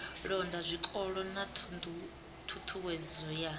londa zwikolo na ṱhuṱhuwedzo ya